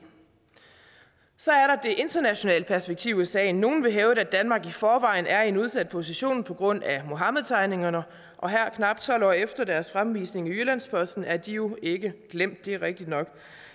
så er der internationale perspektiv i sagen nogle vil hævde at danmark i forvejen er i en udsat position på grund af muhammedtegningerne og her knap tolv år efter deres fremvisning i jyllands posten er de jo ikke glemt det er rigtigt nok